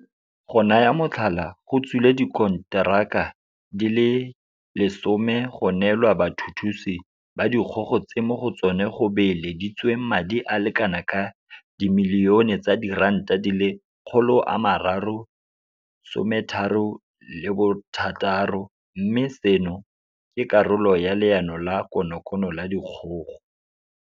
Go naya motlhala, go tswile dikonteraka di le 10 go neelwa bathuthusi ba dikgogo tse mo go tsona go beeleditsweng madi a le kana ka R336 milione mme seno ke karolo ya Leano la konokono la dikgogo.